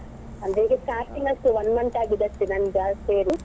ಹಾ ಈಗ starting ಅಷ್ಟೇ one month ಆಗಿದೆ ಅಷ್ಟೇ ನಂಗೆ ಜಾಸ್ತಿ ಏನು.